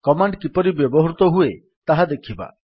command କିପରି ବ୍ୟବହୃତ ହୁଏ ତାହା ଦେଖିବା